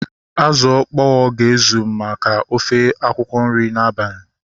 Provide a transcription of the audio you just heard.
Azụ ọkpọa ga-ezu maka ofe akwụkwọ nri n'abalị